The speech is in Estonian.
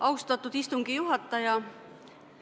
Austatud istungi juhataja!